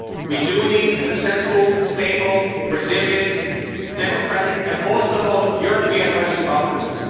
We do need successful, stable, resilient, democratic, and most of all European, Western Balkans.